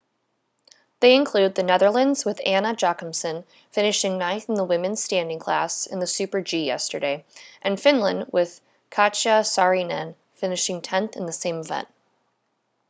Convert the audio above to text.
they include the netherlands with anna jochemsen finishing ninth in the women's standing class in the super-g yesterday and finland with katja saarinen finishing tenth in the same event